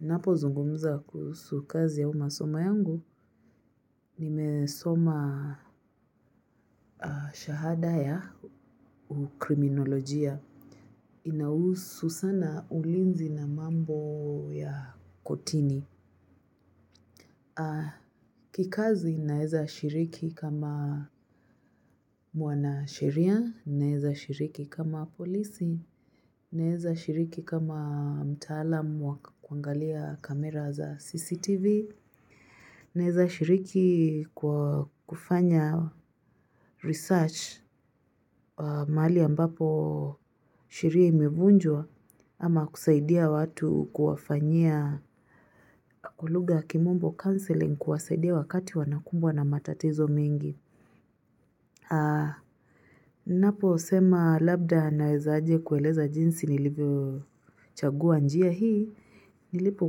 Napo zungumza kuhusu kazi au masoma yangu, nimesoma shahada ya ukriminolojia. Inahusu sana ulinzi na mambo ya kotini. Kikazi naeza shiriki kama mwana sheria, naeza shiriki kama polisi, naeza shiriki kama mtaalamu wa kuangalia kamera za CCTV. Naeza shiriki kwa kufanya research mahali ambapo sheria imevunjwa ama kusaidia watu kuwafanyia kwa lugha kimombo counseling kuwasaidia wakati wanakumbwa na matatizo mingi. Napo sema labda naezaje kueleza jinsi nilivyo chagua njia hii. Nilipo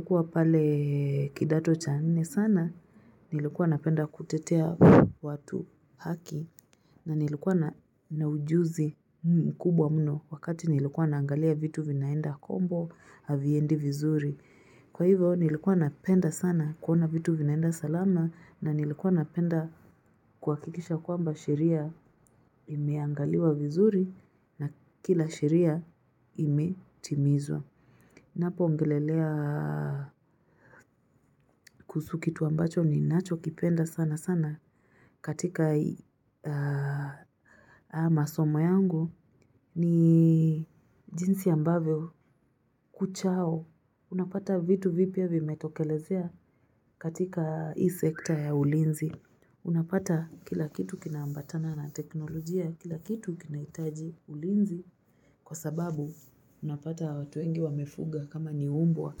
kuwa pale kidato cha nne sana nilikuwa napenda kutetea watu haki na nilikuwa na ujuzi kubwa mno wakati nilikuwa naangalia vitu vinaenda kombo haviendi vizuri Kwa hivo nilikuwa napenda sana kuona vitu vinaenda salama na nilikuwa napenda kuhakikisha kwamba sheria imeangaliwa vizuri na kila sheria imetimizwa Napo ongelelea kuhusu kitu ambacho ni nacho kipenda sana sana katika haya masomo yangu ni jinsi ambavyo kuchao. Unapata vitu vipya vimetokelezea katika hii sekita ya ulinzi. Unapata kila kitu kina ambatana na teknolojia, kila kitu kinahitaji ulinzi. Kwa sababu, unapata watu wengi wamefuga kama ni umbwa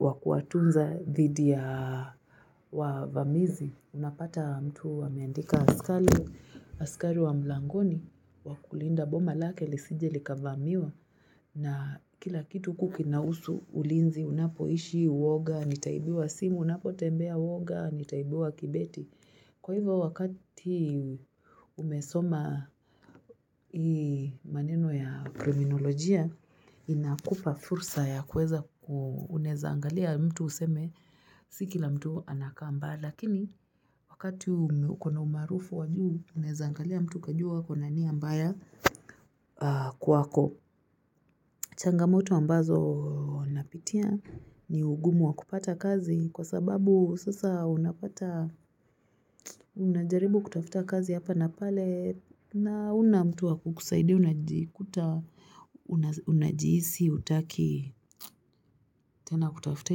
wa kuatunza dhidi ya wavamizi. Unapata mtu ameandika askari, askari wa mlangoni, wakulinda boma lake, lisije likavamiwa. Na kila kitu huku kinahusu, ulinzi, unapoishi, uwoga, nitaibiwa simu, unapo tembea uwoga, nitaibiwa kibeti. Kwa hivyo wakati umesoma maneno ya kriminolojia inakupa fursa ya kuweza unezaangalia mtu useme siki la mtu anakaa mbaya lakini wakati uko na umaarufu wajuu unezaangalia mtu ukajua ako na nia mbaya kwako. Changamoto ambazo napitia ni ugumu wa kupata kazi kwa sababu sasa unapata unajaribu kutafuta kazi hapa na pale na huna mtu wa kukusaidia unajikuta unajihisi hutaki tena kutafuta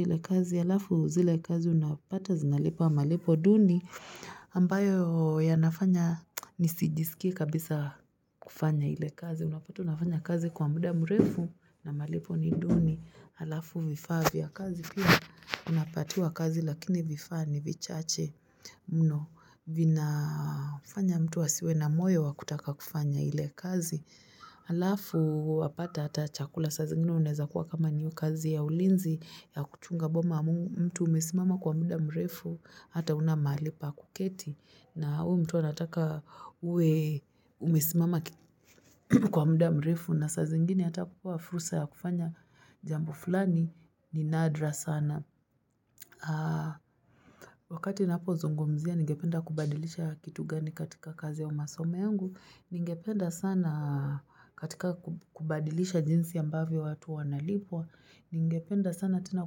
ile kazi. Alafu zile kazi unapata zinalipa malipo duni ambayo ya nafanya nisijisikie kabisa kufanya ile kazi unapata unafanya kazi kwa muda mrefu na malipo ni duni alafu vifaa vya kazi pia unapatiwa kazi lakini vifaa ni vichache muno vina kufanya mtu asiwe na moyo wakutaka kufanya ile kazi alafu wapata ata chakula sa zingine unaeza kuwa kama ni hiyo kazi ya ulinzi ya kuchunga boma mtu umesimama kwa muda mrefu hata huna mahali pa kuketi na huyu mtu anataka uwe umesimama kwa muda mrefu na saa zingine hata kupewa furusa ya kufanya jambo fulani ni nadra sana wakati napozungumzia nigependa kubadilisha kitu gani katika kazi au masomo yangu ningependa sana katika kubadilisha jinsi ambavyo watu wanalipwa ningependa sana tena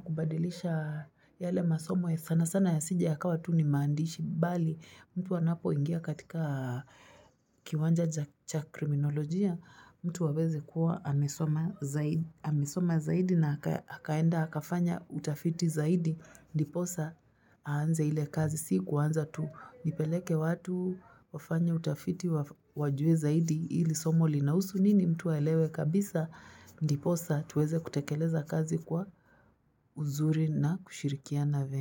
kubadilisha yale masomo ya sana sana yasije yakawa tu ni maandishi bali mtu anapoingia katika kiwanja cha kriminolojia mtu waweze kuwa amesoma amesoma zaidi na akaenda akafanya utafiti zaidi ndiposa aanze ile kazi si kuanza tu nipeleke watu wafanye utafiti wajue zaidi hili somo linahusu nini mtu aelewe kabisa ndiposa tuweze kutekeleza kazi kwa uzuri na kushirikia na vyema.